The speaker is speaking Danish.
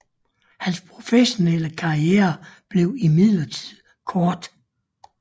Hans professionelle karriere blev imidlertid kort